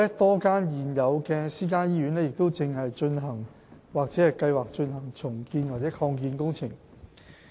多間現有私營醫院亦正進行或計劃進行重建或擴建工程。